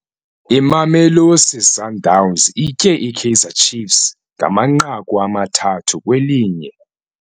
Imamelosi Sundowns itye iKaizer Chiefs ngamanqaku amathathu kwelinye.